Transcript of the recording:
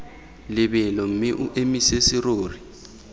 lebelo mme o emise serori